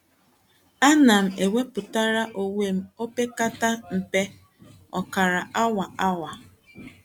Àna m ewepụtara onwe opekata mpe ọ̀kara awa. awa.